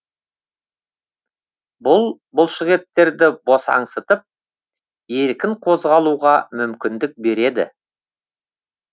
бұл бұлшықеттерді босаңсытып еркін қозғалуға мүмкіндік береді